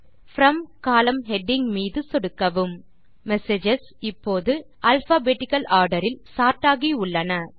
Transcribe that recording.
from column heading மீது சொடுக்கவும் messages இப்போது அல்பாபெட்டிக்கல் ஆர்டர் இல் சோர்ட் ஆகியுள்ளன